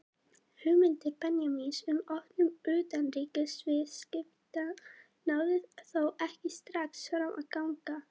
Hugmyndir Benjamíns um opnun utanríkisviðskipta náðu þó ekki strax fram að ganga.